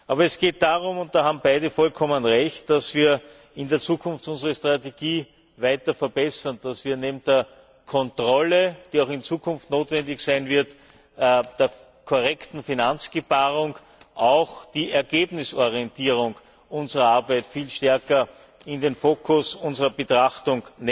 Aber es geht darum und da haben beide vollkommen Recht in Zukunft unsere Strategie weiter zu verbessern, so dass wir neben der Kontrolle, die auch in Zukunft notwendig sein wird, neben dem korrekten Finanzgebaren auch die Ergebnisorientierung unserer Arbeit viel stärker in den Fokus unserer Betrachtung